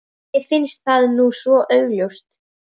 Mér finnst það nú svo augljóst.